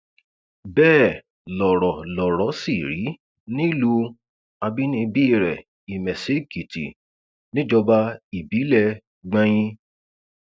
bẹẹ lọrọ lọrọ sì rí nílùú àbínibí rẹ ìmẹsíèkìtì níjọba ìbílẹ gbọnyìn